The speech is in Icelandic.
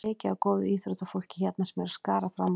Það er mikið af góðu íþróttafólki hérna sem er að skara fram úr.